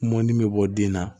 Mɔni bɛ bɔ den na